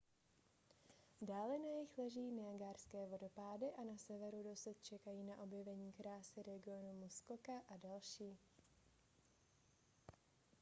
dále na jih leží niagarské vodopády a na severu dosud čekají na objevení krásy regionu muskoka a další